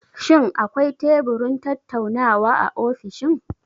Shin akwai teburin tattaunawa a ofishin?